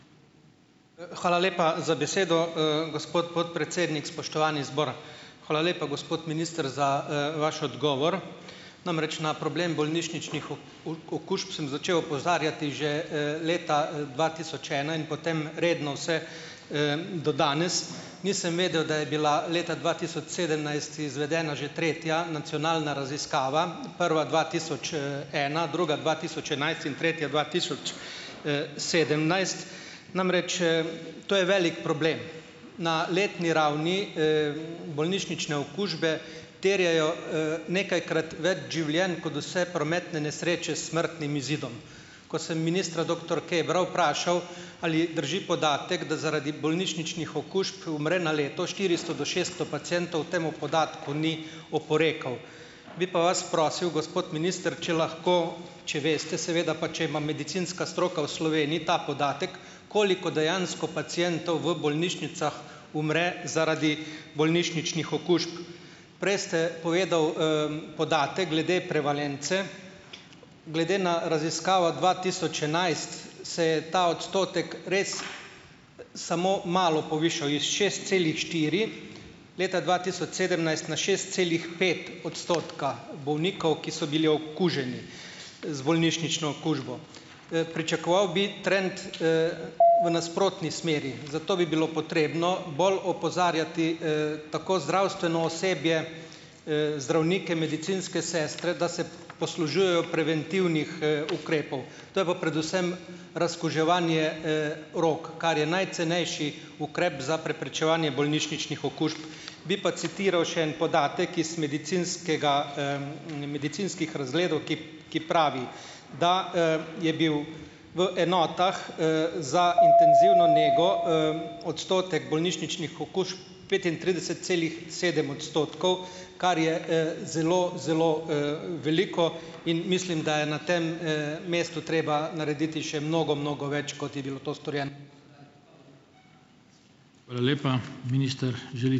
Hvala lepa za besedo, gospod podpredsednik. Spoštovani zbor. Hvala lepa, gospod minister, za, vaš odgovor, namreč na problem bolnišničnih okužb sem začel opozarjati že, leta dva tisoč ena in potem redno, vse, do danes. Nisem vedel, da je bila leta dva tisoč sedemnajst izvedena že tretja nacionalna raziskava prva dva tisoč, ena, druga dva tisoč enajst in tretja dva tisoč, sedemnajst. Namreč, to je velik problem. Na letni ravni, bolnišnične okužbe terjajo, nekajkrat več življenj kot vse prometne nesreče s smrtnim izidom. Ko sem ministra, doktor Kebra vprašal, ali drži podatek, da zaradi bolnišničnih okužb umre na leto štiristo do šesto pacientov, temu podatku ni oporekal, bi pa vas prosil, gospod minister, če lahko, če veste seveda, pa če ima medicinska stroka v Sloveniji ta podatek, koliko dejansko pacientov v bolnišnicah umre zaradi bolnišničnih okužb. Prej ste povedal, podatek glede prevalence, glede na raziskavo dva tisoč enajst se je ta odstotek res samo malo povišal; iz šest celih štiri leta dva tisoč sedemnajst na šest celih pet odstotka bolnikov, ki so bili okuženi z bolnišnično okužbo. Pričakoval bi trend, v nasprotni smeri, zato bi bilo potrebno bolj opozarjati, tako zdravstveno osebje, zdravnike, medicinske sestre, da se poslužujejo preventivnih, ukrepov - to je pa predvsem razkuževanje, rok, kar je najcenejši ukrep za preprečevanje bolnišničnih okužb. Bi pa citiral še en podatek iz medicinskega, Medicinskih razgledov, ki ki pravi da, je bil v enotah, za intenzivno nego, odstotek bolnišničnih okužb petintrideset celih sedem odstotkov, kar je, zelo, zelo, veliko, in mislim, da je na tem, mestu treba narediti še mnogo, mnogo več, kot je bilo to storjeno.